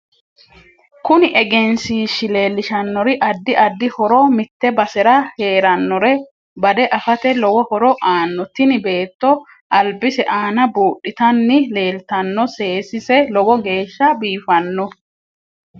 Kuni egenshiishi leelshannori addi addi horo mitte basera heerannore bade afate lowo horo aano tini beeto albise aana buudhitani leeltanno seesise lowo geesha biifanno